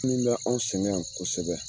Min ba an sɛgɛn yan kosɛbɛ